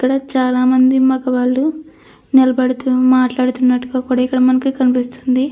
ఇక్కడ చాలామంది మగవాళ్ళు నిలబడితే మాట్లాడుతున్న కూడా ఇక్కడ మనకు కనిపిస్తుంది.